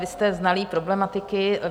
Vy jste znalý problematiky.